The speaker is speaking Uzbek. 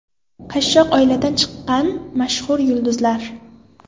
Qashshoq oiladan chiqqan mashhur yulduzlar.